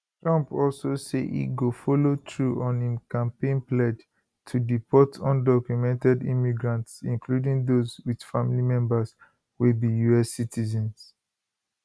trump also say e go follow through on im campaign pledge to deport undocumented immigrants including those with family members wey be us citizens